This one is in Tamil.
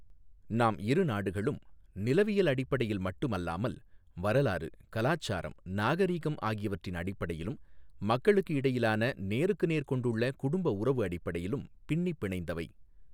நாம் இரு நாடுகளும் நிலவியல் அடிப்படையில் மட்டும் அல்லாமல் வரலாறு, கலாச்சாரம், நாகரிகம் ஆகியவற்றின் அடிப்படையிலும் மக்களுக்கு இடையிலான நேருக்கு நேர் கொண்டுள்ள குடும்பஉறவு அடிப்படையிலும் பின்னிப் பிணைந்தவை.